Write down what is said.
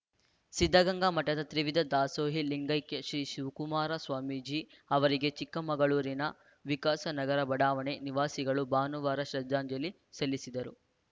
ಸಿದ್ಧಗಂಗಾ ಮಠದ ತ್ರಿವಿಧ ದಾಸೋಹಿ ಲಿಂಗೈಕ್ಯ ಶ್ರೀ ಶಿವಕುಮಾರ ಸ್ವಾಮೀಜಿ ಅವರಿಗೆ ಚಿಕ್ಕಮಗಳೂರಿನ ವಿಕಾಸ ನಗರ ಬಡಾವಣೆ ನಿವಾಸಿಗಳು ಭಾನುವಾರ ಶ್ರದ್ಧಾಂಜಲಿ ಸಲ್ಲಿಸಿದರು